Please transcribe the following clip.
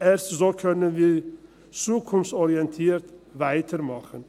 Erst so können wir zukunftsorientiert weitermachen.